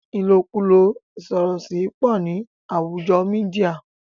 ilokulo isorosi pọ ní àwùjo mìdia